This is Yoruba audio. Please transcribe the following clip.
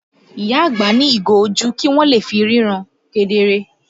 ìyá àgbà ní ìgò ojú kì wọn lè ríran kedere